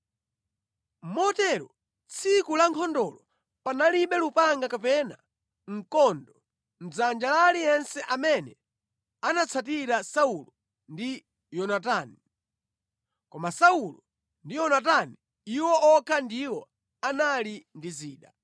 Motero tsiku la nkhondolo panalibe lupanga kapena mkondo mʼdzanja la aliyense amene anatsatira Saulo ndi Yonatani. Koma Saulo ndi Yonatani, iwo okha ndiwo anali ndi zida.